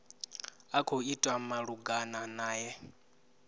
a khou itwa malugana nae